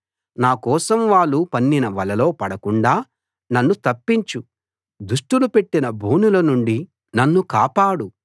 నా కోసం వాళ్ళు పన్నిన వలలో పడకుండా నన్ను తప్పించు దుష్టులు పెట్టిన బోనుల నుండి నన్ను కాపాడు